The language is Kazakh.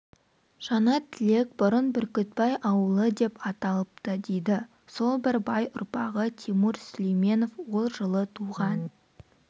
жаңатілек бұрын бүркітбай ауылы деп аталыпты дейді сол бір бай ұрпағы тимур сүлейменов ол жылы туған